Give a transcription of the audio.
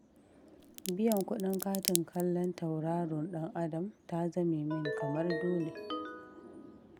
Biyan kuɗin katin kallon tauraron ɗan Adam ta zame min kamar dole.